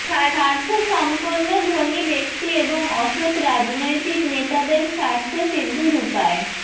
স্বার্থ সম্পন্ন ধনী ব্যক্তি এবং অসৎ রাজনৈতিক নেতাদের স্বার্থ সিদ্ধির উপায়